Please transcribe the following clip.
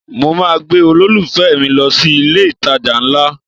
Mo máa gbé olólùfẹ́ mi lọ sí ilé-ìtajà ńlá